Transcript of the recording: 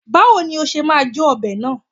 Báwo ni ó ṣe máa jó ọbẹ̀ náà?